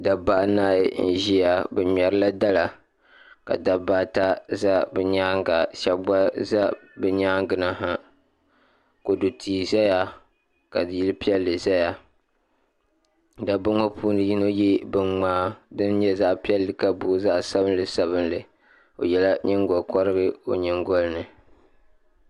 Dabba anahi n-ʒiya bɛ ŋmɛrila dala ka dabba ata za bɛ nyaaŋa shɛba gba za bɛ nyaaŋa na ha kodu tia zaya ka yili piɛlli zaya dabba ŋɔ puuni yino ye biŋmaa din nyɛ zaɣ'piɛlli ka booi zaɣ'sabinli sabinli o yela nyiŋgɔkɔrigu o nyingɔli ni.